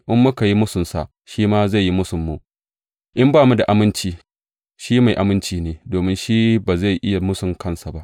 In muka yi mūsunsa, shi ma zai yi mūsunmu; in ba mu da aminci, shi dai mai aminci ne, domin shi ba zai iya mūsun kansa ba.